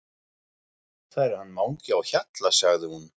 Það er hann Mangi á Hjalla sagði hún.